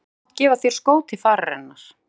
Hann hefði mátt gefa þér skó til fararinnar